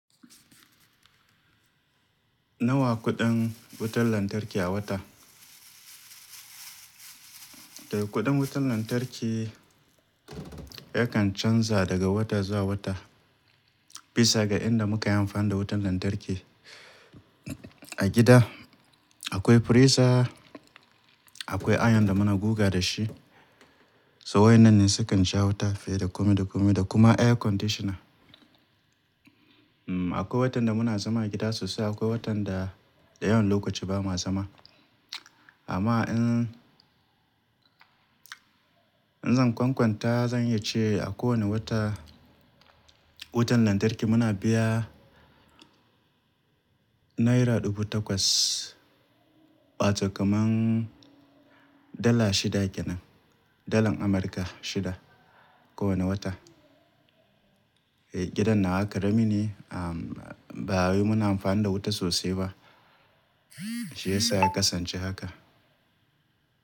Nawa kuɗin wutar lantarki a wata? To kuɗin wutar lantarki yakan canza daga wata zuwa wata. Bisa ga inda muka yi amfani da wutar lantarki. A gida akwai firisa, akwai Iron da muna guga dashi, so wayannan ne sukan sha wuta fiye da kome da kome da kuma air conditioner. Akwai watan da muna zama a gida sosai, akwai watan da dayawan lokaci ba ma zama. Amma in, in zan kwankwanta zan iyace a kowane wata wutar lantarki muna biya naira ɗubu takwas, wato kaman dala shida kenan, dalar Amurka shida kowane wata. Gidan nawa karami ne, ba wai muna amfani da wuta sosai ba. Shi ya sa ya kasance haka.